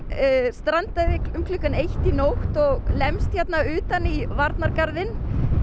strandaði um klukkan eitt í nótt og lemst hérna utan í varnargarðinn